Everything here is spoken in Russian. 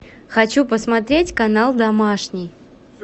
хочу посмотреть канал домашний